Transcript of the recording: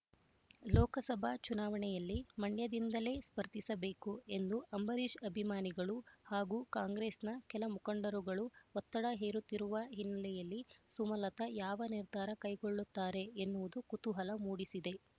ಲೋಕಸಭಾ ಚುನಾವಣೆಯಲ್ಲಿ ಮಂಡ್ಯದಿಂದಲೇ ಸ್ಪರ್ಧಿಸಬೇಕು ಎಂದು ಅಂಬರೀಶ್ ಅಭಿಮಾನಿಗಳು ಹಾಗೂ ಕಾಂಗ್ರೆಸ್‌ನ ಕೆಲಮುಖಂಡರುಗಳು ಒತ್ತಡ ಹೇರುತ್ತಿರುವ ಹಿನ್ನೆಲೆಯಲ್ಲಿ ಸುಮಲತ ಯಾವ ನಿರ್ಧಾರ ಕೈಗೊಳ್ಳುತ್ತಾರೆ ಎನ್ನುವುದು ಕುತೂಹಲ ಮೂಡಿಸಿದೆ